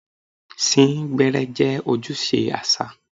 Sín gbẹ́ẹ́rẹ́ jẹ́ ojúṣe àṣà.